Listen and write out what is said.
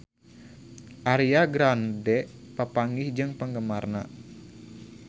Ariana Grande papanggih jeung penggemarna